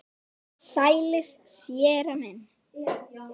Sælir, séra minn.